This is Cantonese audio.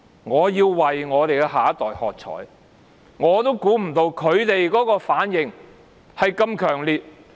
我要為我們的下一代喝采，我也估計不到他們的反應如此強烈。